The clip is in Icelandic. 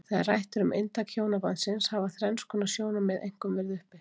Þegar rætt er um inntak hjónabandsins hafa þrenns konar sjónarmið einkum verið uppi.